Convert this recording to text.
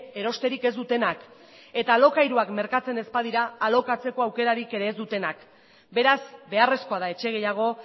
erosterik ez dutenak eta alokairuak merkatzen ez badira alokatzeko aukerarik ere ez dutenak beraz beharrezkoa da etxe gehiago